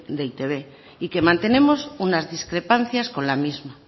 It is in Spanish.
de e i te be y que mantenemos unas discrepancias con la misma